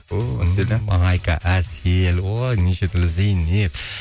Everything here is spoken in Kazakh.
айка әсел ой нешетүрлі зейнеп